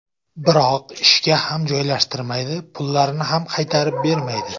Biroq ishga ham joylashtirmaydi, pullarini ham qaytarib bermaydi.